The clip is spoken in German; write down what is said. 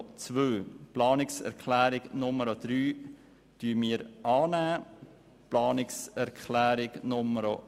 Wir nehmen die Planungserklärung 3 an, ebenfalls die Planungserklärung 4.